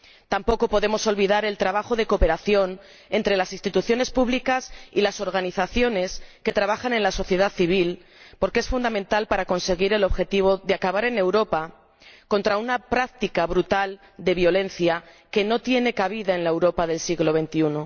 Tampoco podemos olvidar el trabajo de cooperación entre las instituciones públicas y las organizaciones que trabajan en la sociedad civil, porque es fundamental para conseguir el objetivo de acabar en Europa con una práctica brutal de violencia, que no tiene cabida en la Europa del siglo XXI.